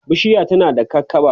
bishiyar tana kakaɓa